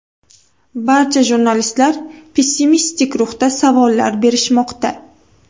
Barcha jurnalistlar pessimistik ruhda savollar berishmoqda.